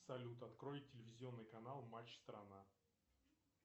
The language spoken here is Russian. салют открой телевизионный канал матч страна